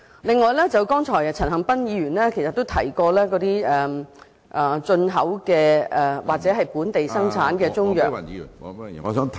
另外，剛才陳恒鑌議員亦提及進口或本地生產的中藥......